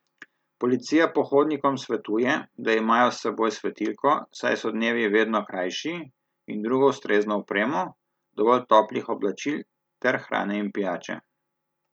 Policija pohodnikom svetuje, da imajo s seboj svetilko, saj so dnevi vedno krajši, in drugo ustrezno opremo, dovolj toplih oblačil ter hrane in pijače.